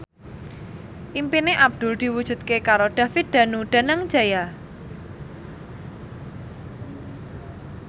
impine Abdul diwujudke karo David Danu Danangjaya